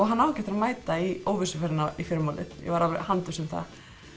hann á ekki eftir að mæta í óvissuferðina í fyrramálið ég var alveg handviss um það